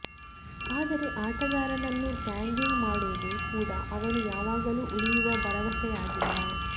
ಆದರೆ ಆಟಗಾರನನ್ನು ಟ್ಯಾಗಿಂಗ್ ಮಾಡುವುದು ಕೂಡಾ ಅವನು ಯಾವಾಗಲೂ ಉಳಿಯುವ ಭರವಸೆಯಾಗಿಲ್ಲ